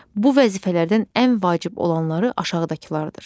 Bu vəzifələrdən ən vacib olanları aşağıdakılardır.